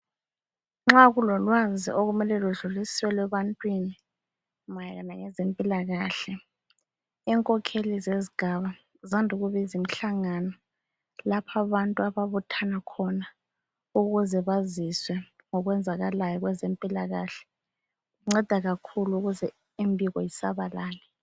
Nxa kulolwazi okumele ludluliselwe ebantwini mayelana ngezempilakahle, inkokheli zezigaba zande ukubiza umhlangano lapho abantu ababuthans khona ukuze baziswe ngokwenzakalayo kwezempilakahle. Kunceda kakhulu ukuze imbiko isabalale.